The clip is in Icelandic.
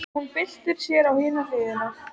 Hún byltir sér á hina hliðina.